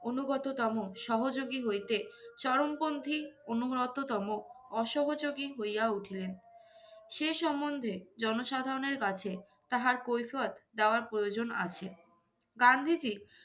অনুগততম সহযোগী হইতে, চরমপন্থী অনুগততম অসহোযোগী হইয়া উঠিলেন। সে সম্বন্ধে জনসাধারণের কাছে তাহার কৈফিয়ত দেওয়ার প্রয়োজন আছে। গান্ধীজী